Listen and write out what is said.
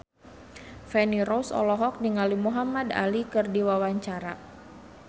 Feni Rose olohok ningali Muhamad Ali keur diwawancara